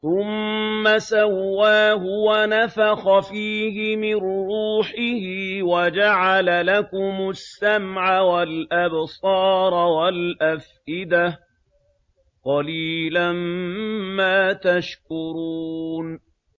ثُمَّ سَوَّاهُ وَنَفَخَ فِيهِ مِن رُّوحِهِ ۖ وَجَعَلَ لَكُمُ السَّمْعَ وَالْأَبْصَارَ وَالْأَفْئِدَةَ ۚ قَلِيلًا مَّا تَشْكُرُونَ